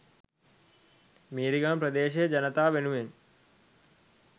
මීරිගම ප්‍රදේශයේ ජනතාව වෙනුවෙන්